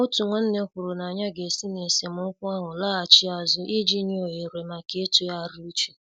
Otu nwanne kwuru na ya ga-esi n' esemokwu ahụ laghachi azụ iji nye ohere maka ịtụgharị uche.